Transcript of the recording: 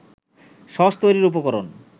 sauce তৈরির উপকরণ